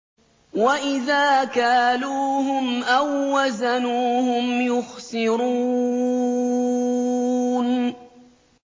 وَإِذَا كَالُوهُمْ أَو وَّزَنُوهُمْ يُخْسِرُونَ